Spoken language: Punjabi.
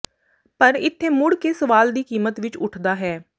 ਪਰ ਇੱਥੇ ਮੁੜ ਕੇ ਸਵਾਲ ਦੀ ਕੀਮਤ ਵਿੱਚ ਉੱਠਦਾ ਹੈ